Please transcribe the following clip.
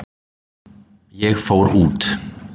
Ég fór út.